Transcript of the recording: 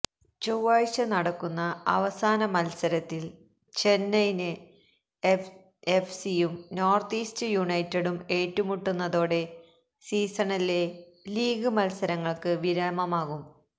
ചൊവ്വാഴ്ച നടക്കുന്ന അവസാന മത്സരത്തില് ചെന്നൈയിന് എഫ്സിയും നോര്ത്ത് ഈസ്റ്റ് യുണൈറ്റഡും ഏറ്റുമുട്ടുന്നതോടെ സീസണിലെ ലീഗ് മത്സരങ്ങള്ക്ക് വിരാമമാകും